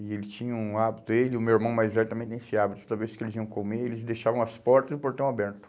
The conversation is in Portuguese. E ele tinha um hábito, ele e o meu irmão mais velho também tem esse hábito, toda vez que eles iam comer, eles deixavam as portas e o portão aberto.